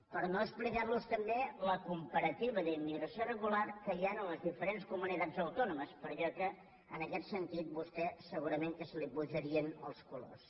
per no explicar·los també la comparativa d’immigració irre·gular que hi ha en les diferents comunitats autònomes perquè en aquest sentit a vostè segurament que li pu·jarien els colors